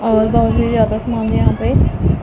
और बहोत ही ज्यादा सामान यहां पे--